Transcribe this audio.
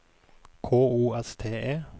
K O S T E